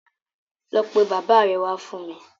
Lọ pe bàbáa rẹ wá fún mi!